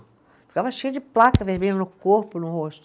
Ficava cheia de placa vermelha no corpo, no rosto.